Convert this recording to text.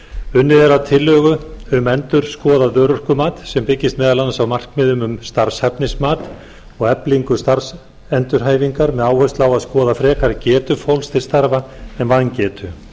unnið er að tillögu um endurskoðað örorkumat sem byggist meðal annars á markmiðum um starfshæfnismat og eflingu starfsendurhæfingar með áherslu á að skoða frekar getu fólks til starfa en vangetu